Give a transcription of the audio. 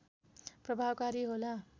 प्रभावकारी होला